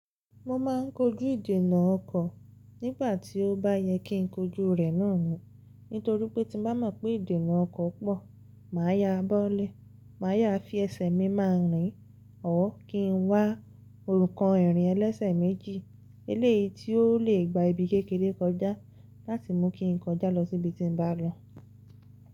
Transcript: Mo ma n kojú ìdènà ọkọ̀ nígbà tí ó bá yẹ kí n kojú rẹ̀ náà ni. Nítorí pé tí mo bá mọ̀ pé ìdènà ọkọ̀ pọ̀, màá ya bọ́lẹ̀, màá yá fi ẹsẹ̀ mi ma rìn ọ́ kí n wá òrùkan ìrìn ẹlẹ́sẹ̀ méjì eléyìí tí ó lè gba ibi kékeré kọjá láti mú kí n kọjá lọ sí ibi tí n bá lọ.